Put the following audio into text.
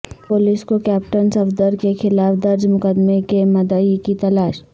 police کو captain Safdar کیخلاف درج مقدمے کے مدعی کی تلاش